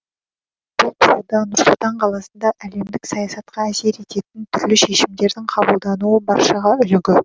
бұл тұрғыда нұр сұлтан қаласында әлемдік саясатқа әсер ететін түрлі шешімдердің қабылдануы баршаға үлгі